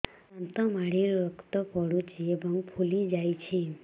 ଦାନ୍ତ ମାଢ଼ିରୁ ରକ୍ତ ପଡୁଛୁ ଏବଂ ଫୁଲି ଯାଇଛି